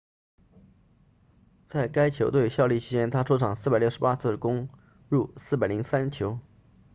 在该球队效力期间他出场468次攻入403球